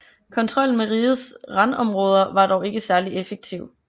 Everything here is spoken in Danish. Kontrollen med rigets randområder var dog ikke særlig effektiv